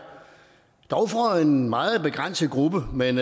dog for en meget begrænset gruppe men